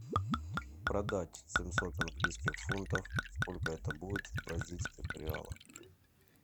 продать семьсот английских фунтов сколько это будет в бразильских реалах